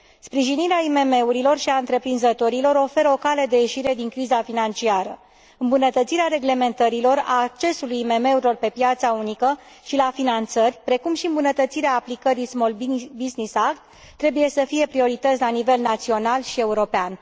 Sprijinirea IMM urilor și a întreprinzătorilor oferă o cale de ieșire din criza financiară. Îmbunătățirea reglementărilor, a accesului IMM urilor pe piața unică și la finanțări, precum și îmbunătățirea aplicării Small Business Act trebuie să fie priorități la nivel național și european.